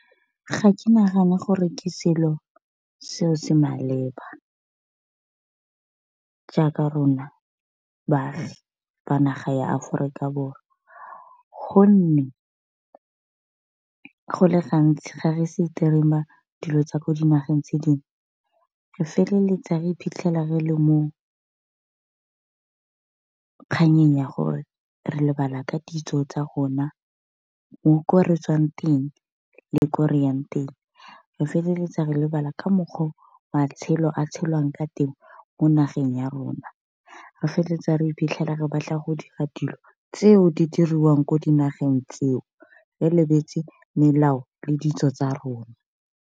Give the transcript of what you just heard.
Ga ke nagana gore ke selo seo se maleba, jaaka rona baagi ba naga ya Aforika Borwa gonne go le gantsi ga re streamer dilo tsa ko dinageng tse dingwe re feleletsa re iphitlhela re le mo kganyeng ya gore re lebala ka ditso tsa rona ko re tswang teng le ko reyang teng. Re feleletsa re lebala ka mokgwa o matshelo a tshelwang ka teng mo nageng ya rona, re feleletsa re iphitlhela re batla go dira dilo tseo di diriwang ko dinageng tseo le lebetse melao le ditso tsa rona.